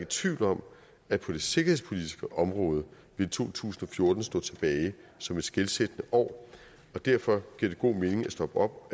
tvivl om at på det sikkerhedspolitiske område vil to tusind og fjorten stå tilbage som et skelsættende år og derfor giver det god mening at stoppe op